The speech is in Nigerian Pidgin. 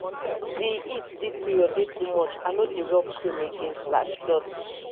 di heat dis period dey too much i no dey rob cream again.